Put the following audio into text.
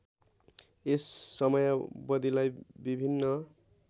यस समयावधिलाई विभिन्न